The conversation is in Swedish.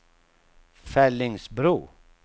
Fellingsbro